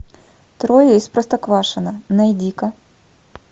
трое из простоквашино найди ка